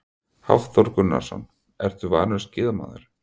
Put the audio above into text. Hafþór Gunnarsson: Ertu vanur skíðamaður?